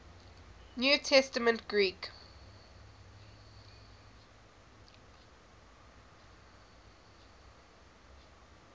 new testament greek